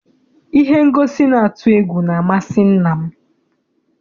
Ihe ngosi na-atụ egwu na amasị nna m.